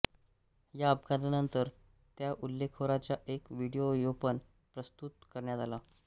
या अपघातानंतर त्या हल्लेखोराचा एक व्हिडियोपण प्रसृत करण्यात आला